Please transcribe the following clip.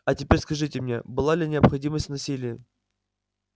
а теперь скажите мне была ли необходимость в насилии